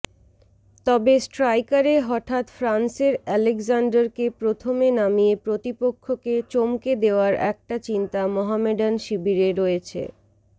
তবে স্ট্রাইকারে হঠাৎ ফ্রান্সের আলেকজান্ডারকে প্রথমে নামিয়ে প্রতিপক্ষকে চমকে দেওয়ার একটা চিন্তা মহমেডান শিবিরে রয়েছে